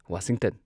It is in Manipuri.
ꯋꯥꯁꯤꯡꯇꯟ